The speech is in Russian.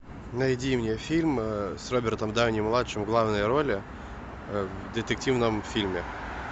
найди мне фильм с робертом дауни младшим в главной роли в детективном фильме